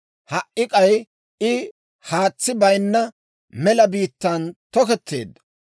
Ha"i k'ay I haatsi bayinna, mela biittan toketteedda.